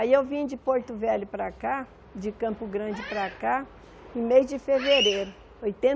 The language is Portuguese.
Aí eu vim de Porto Velho para cá, de Campo Grande para cá, em mês de fevereiro,